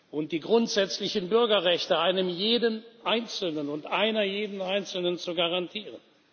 und die grundsätzlichen Bürgerrechte einem jeden Einzelnen und einer jeden Einzelnen zu garantieren.